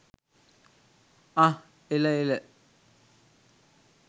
අහ්හ් එල එල.